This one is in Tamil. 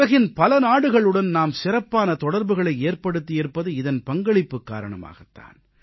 உலகின் பல நாடுகளுடன் நாம் சிறப்பான தொடர்புகளை ஏற்படுத்தியிருப்பது இதன் பங்களிப்பு காரணமாகத் தான்